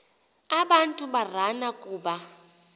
abantu barana kuba